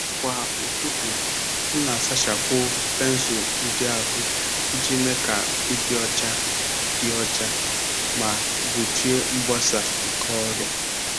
Kwa ụtụtụ, m na-asachapụ pensụl ndị ahụ iji mee ka ịdị ọcha dị ọcha ma gbochie mgbasa nke ọrịa.